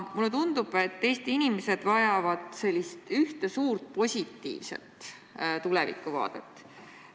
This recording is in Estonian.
Mulle tundub, et Eesti inimesed vajavad ühte suurt positiivset tulevikuvaadet.